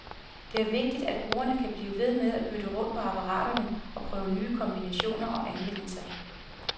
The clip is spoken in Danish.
Det er vigtigt, at brugerne kan blive ved med at bytte rundt på apparaterne, og prøve nye kombinationer og anvendelser.